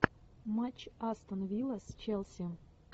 матч астон вилла с челси